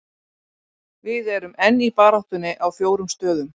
Við erum enn í baráttunni á fjórum stöðum.